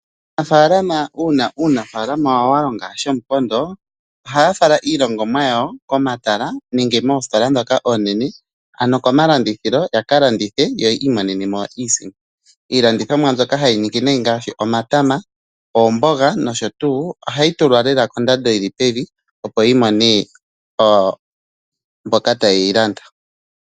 Aanafaalama uuna uunafaalama wawo walonga shomupondo ohaya fala iilongomwa yawo komatala nenge moositola ndhoka oonene ano komalandithilo ya ka landithe yo yi imonenemo iisimpo. Iilandithomwa mbyoka hayi ningi nayi ngaashi omatama, oomboga nosho tuu. Ohayi tulwa lela kondando yili pevi opo yimone mboka ta ye yilanda.